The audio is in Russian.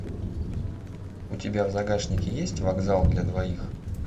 у тебя в загашнике есть вокзал для двоих